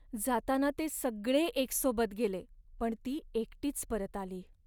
जाताना ते सगळे एकसोबत गेले, पण ती एकटीच परत आली.